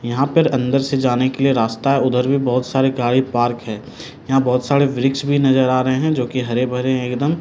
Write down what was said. यहां पर अंदर से जाने के लिए रास्ता उधर भी बहुत सारे गाड़ी पार्क है यहां बहुत सारे वृक्ष भी नजर आ रहे हैं जो की हरे भरे है एकदम ।